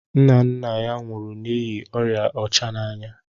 Nna nna ya nwụrụ n'ihi oria ọcha n'anya